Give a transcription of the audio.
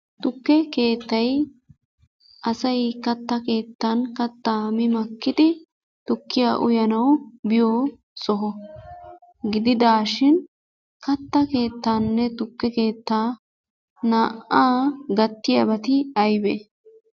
Tukke keettay asay katta keettan kattaa mi makkidi tukkiya uyanawu biyo soho. Gididaashin katta keettaanne tukke keettaa naa"aa gattiyabati ayibee?